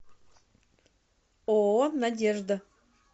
ооо надежда